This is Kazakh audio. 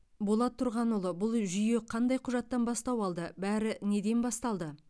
болат тұрғанұлы бұл жүйе қандай құжаттан бастау алды бәрі неден басталды